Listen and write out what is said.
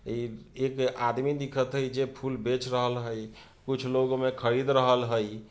ए एक आदमी दिखत हई जे फूल बेच रहल हई कुछ लोग ओय मे खरीद रहल हई।